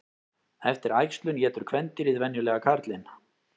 Eftir æxlun étur kvendýrið venjulega karlinn.